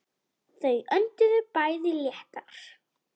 Þau önduðu bæði léttar.